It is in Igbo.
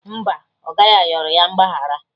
Mba, oga ya yọrọ ya mgbaghara